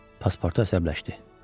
Paspartu əsəbləşdi.